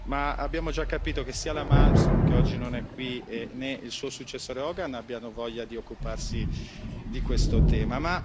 Ma abbiamo già capito che né la Malmström, che oggi non è qui, né il suo successore Hogan hanno voglia di occuparsi di questo tema.